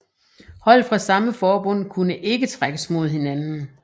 Hold fra samme forbund kunne ikke trækkes mod hinanden